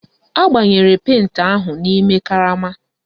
Agbanyere penti ahụ n'ime karama